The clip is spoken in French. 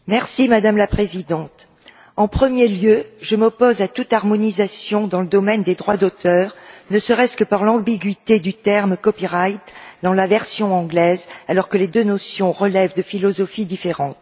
Madame la Présidente, en premier lieu, je m'oppose à toute harmonisation dans le domaine des droits d'auteur, ne serait ce qu'à cause de l'ambiguïté du terme dans la version anglaise, alors que les deux notions relèvent de philosophies différentes.